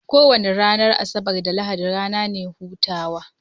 Kowani Ranar Asabar da lahadi rana ne hutawa